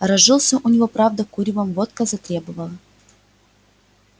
разжился у него правда куревом водка затребовала